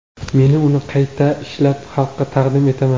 Men uni qayta ishlab, xalqqa taqdim etaman.